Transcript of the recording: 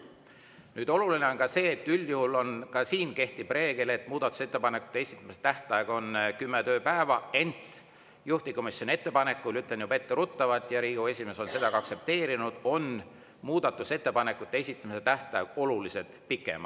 Nüüd, oluline on veel see, et üldjuhul ka siin kehtib reegel, et muudatusettepanekute esitamise tähtaeg on kümme tööpäeva, ent juhtivkomisjoni ettepanekul, ütlen juba etteruttavalt, ja Riigikogu esimees on seda ka aktsepteerinud, on muudatusettepanekute esitamise tähtaeg oluliselt pikem.